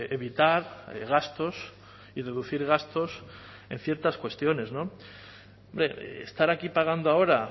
evitar gastos y reducir gastos en ciertas cuestiones hombre estar aquí pagando ahora